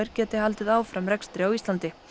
geti haldið áfram rekstri á Íslandi